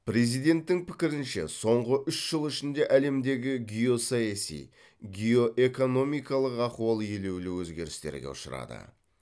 президенттің пікірінше соңғы үш жыл ішінде әлемдегі геосаяси геоэкономикалық ахуал елеулі өзгерістерге ұшырады